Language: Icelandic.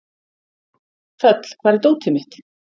Þöll, hvar er dótið mitt?